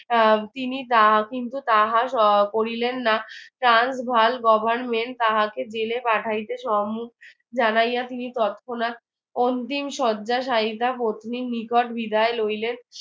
আহ তিনি কিন্তু তাহা করিলেন না transval government তাহাকে জেলে পাঠাইতে সম্মুকজানাইয়া তিনি তৎক্ষনাক অন্তিম শয্যায় শায়িতা পত্নী নিকট বিদায় লইলেন